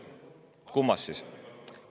Kummast siis?